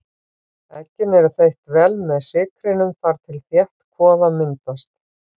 Eggin eru þeytt vel með sykrinum þar til þétt kvoða myndast.